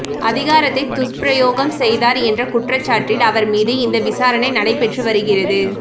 அதிகாரத்தை துஷ்பிரயோகம் செய்தார் என்ற குற்றச்சாட்டில் அவர் மீது இந்த விசாரணை நடைபெற்று வருகிறது